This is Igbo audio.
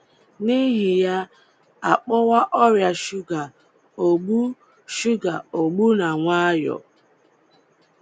N’ihi ya, a kpọwa ọrịa shuga ogbu shuga ogbu na nwayọọ.